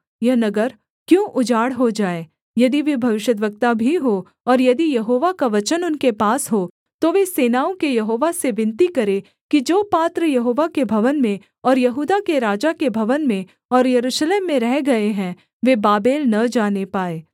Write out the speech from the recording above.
यह नगर क्यों उजाड़ हो जाए यदि वे भविष्यद्वक्ता भी हों और यदि यहोवा का वचन उनके पास हो तो वे सेनाओं के यहोवा से विनती करें कि जो पात्र यहोवा के भवन में और यहूदा के राजा के भवन में और यरूशलेम में रह गए हैं वे बाबेल न जाने पाएँ